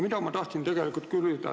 Ma tahtsin tegelikult küsida seda.